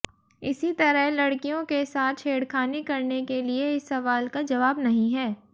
इसी तरह लड़कियों के साथ छेड़खानी करने के लिए इस सवाल का जवाब नहीं है